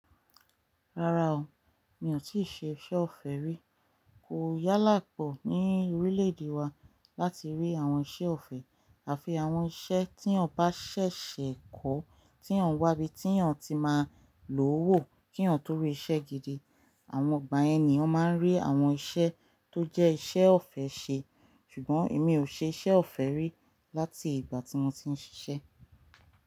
Rárá o, mi ò tíì ṣe iṣẹ́ ọ̀fẹ́ rí. Kò yálà pọ̀ ní orílẹ̀-èdè wa láti rí àwọn iṣẹ́ ọ̀fẹ́ àfi àwọn iṣẹ́ tí ọ̀ bá ṣẹ̀ṣẹ̀ kọ́, tí ọ̀ ń wá bíi tí ọ̀n ti máa ń lo o wó kí ọ̀n tó rí iṣẹ́ gidi. Àwọn igbà yẹ̀n ní èèyàn máa ń rí àwọn iṣẹ́ tó jẹ́ iṣẹ́ ọ̀fẹ́ ṣe, ṣùgbọ́n èmi ò ṣe iṣẹ́ ọ̀fẹ́ rí láti ìgbà tí mo ti ń ṣiṣẹ́.